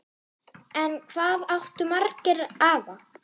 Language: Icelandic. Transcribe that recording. En hvað áttu marga afa?